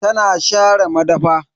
Tana share madafa.